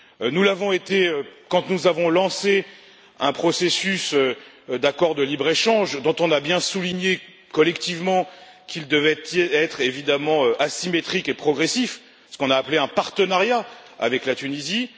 Nous l'avons été quand nous avons lancé un processus d'accord de libre échange, dont on a bien souligné collectivement qu'il devait être évidemment asymétrique et progressif ce que l'on a appelé un partenariat avec la Tunisie